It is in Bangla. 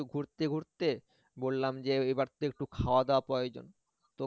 ঘুরতে ঘুরতে বললাম যে এবার তো একটু খাওয়াদাওয়া প্রয়োজন তো